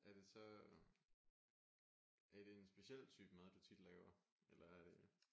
Er det så er det en speciel type mad du tit laver? Eller er det